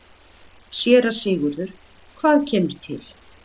SÉRA SIGURÐUR: Hvað kemur til?